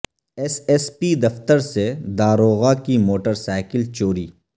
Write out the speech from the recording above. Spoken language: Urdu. ایس ایس پی دفتر سے داروغہ کی موٹر سائیکل چوری